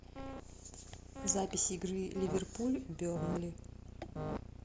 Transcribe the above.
запись игры ливерпуль бернли